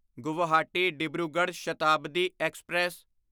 Guwahati Dibrugarh Shatabdi express